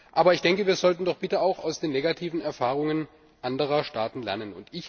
Aber ich denke, wir sollten doch auch aus den negativen Erfahrungen anderer Staaten lernen.